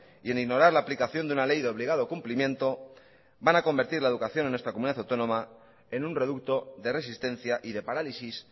y en ignorar la aplicación de una ley de obligado cumplimiento van a convertir la educación en nuestra comunidad autónoma en un reducto de resistencia y de parálisis